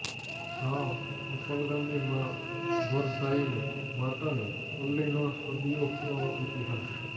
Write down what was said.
જાણો રૂપાલ ગામની માઁ વરદાયિની માતાની પલ્લીનો સદીઓ પુરાણો ઇતિહાસ